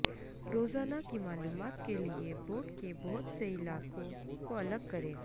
روزانہ کی معلومات کے لئے بورڈ کے بہت سے علاقوں کو الگ کریں